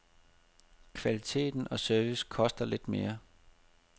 Kvalitet og service koster lidt mere.